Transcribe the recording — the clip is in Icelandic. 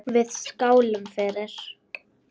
Við skálum fyrir